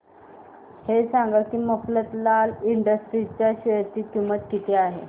हे सांगा की मफतलाल इंडस्ट्रीज च्या शेअर ची किंमत किती आहे